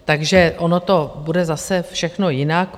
Takže ono to bude zase všechno jinak.